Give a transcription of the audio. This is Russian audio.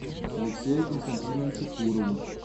алексею константиновичу турову